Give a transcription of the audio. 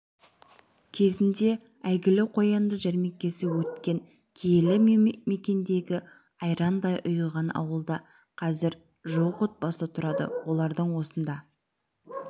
кезінде әйгілі қоянды жәрмеңкесі өткен киелі мекендегі айрандай ұйыған ауылда қазір жуық отбасы тұрады олардың осында